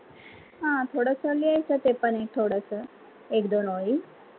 हा थोडस लिहायच ते पण थोडस एक दोन ओळी